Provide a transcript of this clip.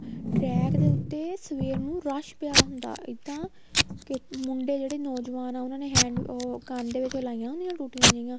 track ਦੇ ਉੱਤੇ ਸਵੇਰ ਨੂੰ ਰੱਸ਼ ਪਇਆ ਹੁੰਦਾ ਇੱਦਾਂ ਕੇ ਮੁੰਡੇ ਜਿਹੜੇ ਨੋਜਵਾਨ ਆ ਉਹਨਾ ਨੇ hand ਉਹ ਕੰਨ ਦੇ ਵਿੱਚ ਉਹ ਲਾਈਆਂ ਹੁੰਦੀਆਂ ਟੁੱਟੀਆਂ ਜਿਹੀਆਂ